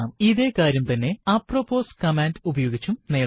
ഇതേ കാര്യം തന്നെ അപ്രൊപ്പോസ് കമാൻഡ് ഉപയോഗിച്ചും നേടാം